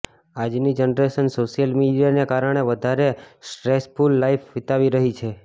આજની generation social મીડિયાને કારણે વધારે સ્ટ્રેસફૂલ લાઈફ વિતાવી રહી છે